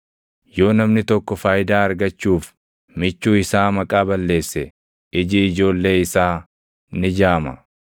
Yoo namni tokko faayidaa argachuuf michuu isaa maqaa balleesse, iji ijoollee isaa ni jaama.